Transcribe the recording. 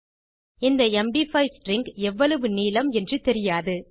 இந்த MD five string எவ்வளவு நீளம் என்று தெரியாது